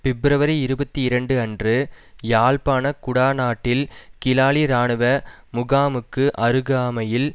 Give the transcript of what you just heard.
பிப்ரவரி இருபத்தி இரண்டு அன்று யாழ்ப்பாண குடாநாட்டில் கிளாலி இராணுவ முகாமுக்கு அருகாமையில்